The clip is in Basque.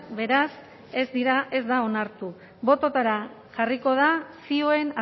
beraz ez dira ez da onartu bototara jarriko da zioen